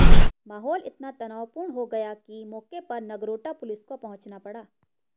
माहौल इतना तनावपूर्ण हो गया कि मौके पर नगरोटा पुलिस को पहुंचना पड़ा